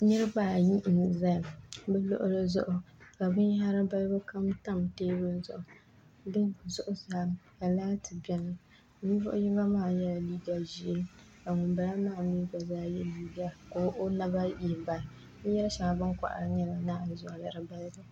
Niraba ayi n ʒɛya bi luɣuli zuɣu ka binyahari balibu kam tam teebuli zuɣu di zuɣusaa ka laati biɛni ninvuɣu yino maa yɛla liiga ʒiʋ ka ŋunbala maa mii gba yɛ liiga ka o naba yina binyɛri shɛŋa bin kohari n nyɛ naanzuwa